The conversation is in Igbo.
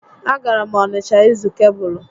A gara m Onịsha ịzụ kebụlụ